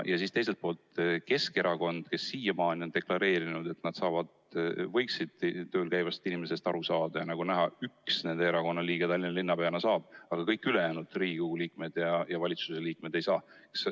Ja teiselt poolt Keskerakond, kes siiamaani on deklareerinud, et nad saavad tööl käivatest inimestest aru, ja nagu näha, üks nende erakonna liige, Tallinna linnapea, saab, aga erakonda esindavad Riigikogu liikmed ja valitsuse liikmed ei saa.